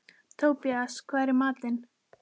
Tobías, hvað er í matinn?